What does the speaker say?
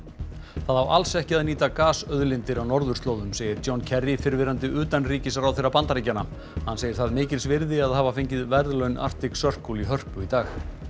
það á alls ekki að nýta gasauðlindir á norðurslóðum segir John fyrrverandi utanríkisráðherra Bandaríkjanna hann segir það mikils virði að hafa fengið verðlaun Arctic Circle í Hörpu í dag